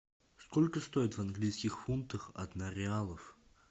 сколько стоит в английских фунтах одна реалов